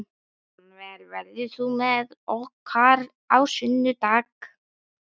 Rannver, ferð þú með okkur á sunnudaginn?